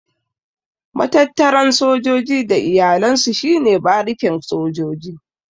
Matattaran sojoji da iyalan su shi ne barikin sojoji.